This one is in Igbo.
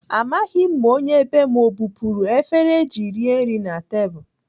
Amaghị m ma onye bee m ọ bupuru efere eji rie nri na tebụl.